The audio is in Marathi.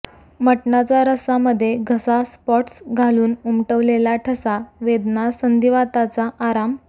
मटनाचा रस्सा मध्ये घसा स्पॉट्स घासून उमटवलेला ठसा वेदना संधिवाताचा आराम